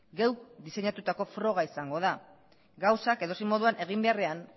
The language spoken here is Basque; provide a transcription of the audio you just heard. geuk diseinatutako froga izango da gauzak edozein moduan egin beharrean